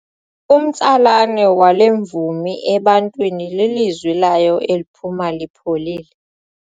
Umtsalane wale mvumi ebantwini lilizwi layo eliphuma lipholile.